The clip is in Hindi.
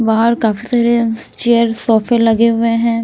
बाहर काफी सारे चेयर सोफे लगे हुए हैं।